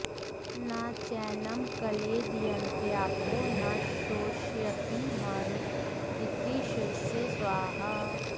न चैनं क्लेदयन्त्यापो न शोषयति मारुत इति शिरसे स्वाहा